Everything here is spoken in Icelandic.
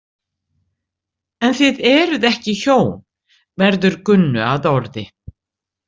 En þið eruð ekki hjón, verður Gunnu að orði.